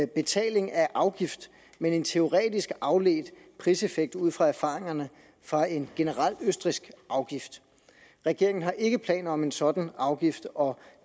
betaling af afgift men en teoretisk afledt priseffekt ud fra erfaringerne fra en generel østrigsk afgift regeringen har ikke planer om en sådan afgift og